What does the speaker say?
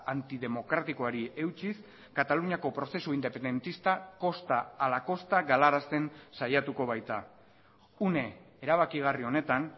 antidemokratikoari eutsiz kataluniako prozesu independentista kosta ala kosta galarazten saiatuko baita une erabakigarri honetan